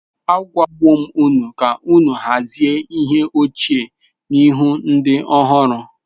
Agwawo m unu ka unu hazie ihe ochie n’ihu ndị ọhụrụ.